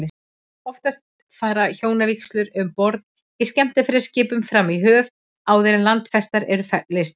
Oftast fara hjónavígslur um borð í skemmtiferðaskipum fram í höfn, áður en landfestar eru leystar.